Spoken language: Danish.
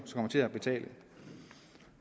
kommer til at betale